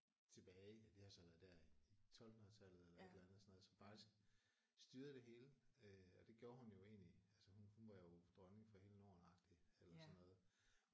Tilbage ja det har så været der i 1200-tallet eller et eller andet sådan noget som faktisk styrede det hele øh og det gjorde hun jo egentlig altså hun hun var jo dronning for hele Norden agtigt eller sådan noget